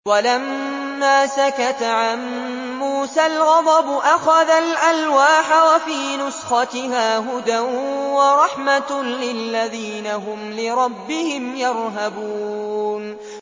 وَلَمَّا سَكَتَ عَن مُّوسَى الْغَضَبُ أَخَذَ الْأَلْوَاحَ ۖ وَفِي نُسْخَتِهَا هُدًى وَرَحْمَةٌ لِّلَّذِينَ هُمْ لِرَبِّهِمْ يَرْهَبُونَ